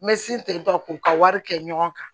Me sin te k'u ka wari kɛ ɲɔgɔn kan